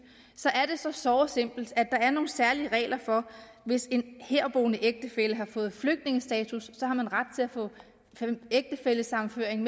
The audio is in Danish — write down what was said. såre simple at der er nogle særlige regler hvis en herboende ægtefælle har fået flygtningestatus har man ret til at få en ægtefællesammenføring